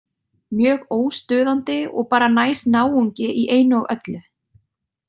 Mjög óstuðandi og bara næs náungi í einu og öllu.